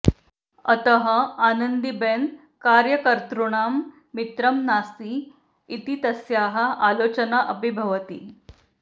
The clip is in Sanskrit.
अतः आनन्दीबेन कार्यकर्तॄणां मित्रं नास्ति इति तस्याः आलोचना अपि भवति